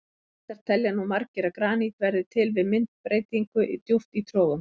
Reyndar telja nú margir að granít verði til við myndbreytingu djúpt í trogum.